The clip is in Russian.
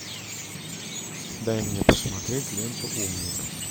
дай мне посмотреть ленту умник